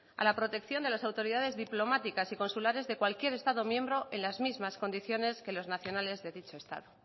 a la protección de las autoridades diplomáticas y consulares de cualquier estado miembro en las mismas condiciones que los nacionales de dicho estado